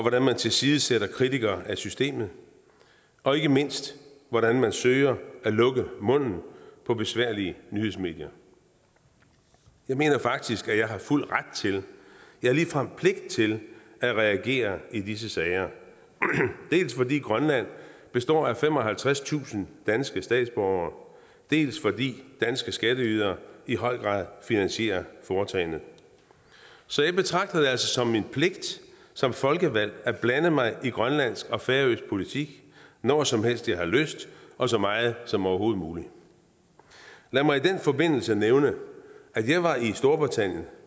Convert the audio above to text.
at man tilsidesætter kritikere af systemet og ikke mindst hvordan man søger at lukke munden på besværlige nyhedsmedier jeg mener faktisk at jeg har fuld ret til ja ligefrem pligt til at reagere i disse sager dels fordi grønland består af femoghalvtredstusind danske statsborgere dels fordi danske skatteydere i høj grad finansierer foretagendet så jeg betragter det altså som min pligt som folkevalgt at blande mig i grønlandsk og færøsk politik når som helst jeg har lyst og så meget som overhovedet muligt lad mig i den forbindelse nævne at jeg var i storbritannien